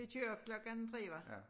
De kører klokken 3 hvad